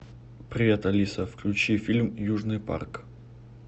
привет алиса включи фильм южный парк